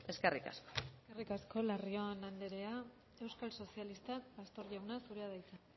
eskerrik asko eskerrik asko larrion anderea euskal sozialistak pastor jauna zurea da hitza